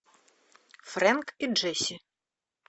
френк и джесси